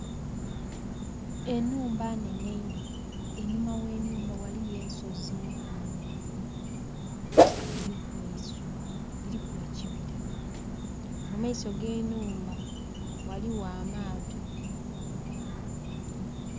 enhumba nnene ino, einhuma ghe nhumba eriyo ensozi mpanvu, dhiriku eisubi, dhiriku ekibira. mu maiso g'enhumba ghaligho amaato.